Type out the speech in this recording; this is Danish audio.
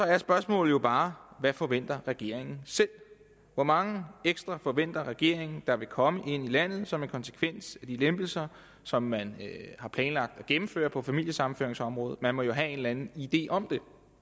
er spørgsmålet jo bare hvad forventer regeringen selv hvor mange ekstra forventer regeringen der vil komme ind i landet som en konsekvens af de lempelser som man har planlagt at gennemføre på familiesammenføringsområdet man må jo have en eller anden idé om